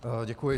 Děkuji.